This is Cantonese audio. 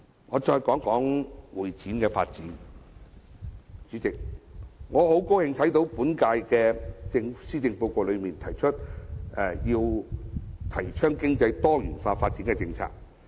我再談談會展業發展方面，代理主席，我很高興看到這份施政報告提出推動經濟多元化發展的政策。